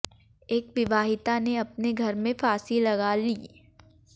एक विवाहिता ने अपने घर में फांसी लगा ली